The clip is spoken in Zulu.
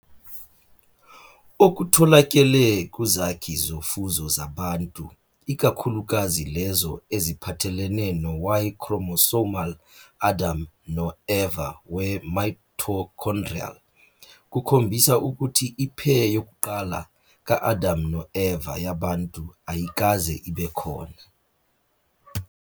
Okutholakele kuzakhi zofuzo zabantu, ikakhulukazi lezo eziphathelene no- Y-chromosomal Adam no- Eva weMitochondrial, kukhombisa ukuthi i-pair yokuqala "ka-Adam no-Eva" yabantu ayikaze ibe khona.